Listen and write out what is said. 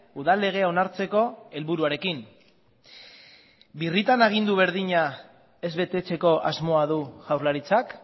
udal legea onartzeko helburuarekin birritan agindu berdina ez betetzeko asmoa du jaurlaritzak